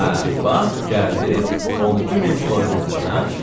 Hə, bax gəldi, 12 min florin uddu hə?